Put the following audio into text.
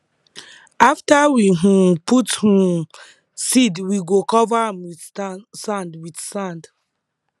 after we um put um seed we go cover am with sand with sand